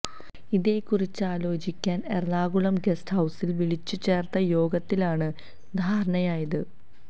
ഇതേക്കുറിച്ചാലോചിക്കാന് Ernakulam guest ഹൌസില് വിളിച്ചു ചേര്ത്ത യോഗത്തിലാണ് ധാരണയായത്